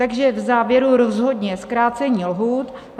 Takže v závěru rozhodně zkrácení lhůt.